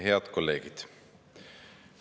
Head kolleegid!